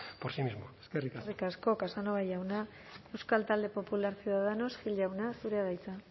por sí mismo eskerrik asko eskerrik asko casanova jauna euskal talde popular ciudadanos gil jauna zurea da hitza